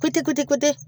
Kute kutekotɛ